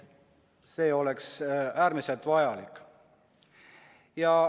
See oleks äärmiselt vajalik.